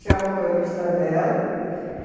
Tinha a motorista dela.